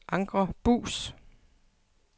Anker Buus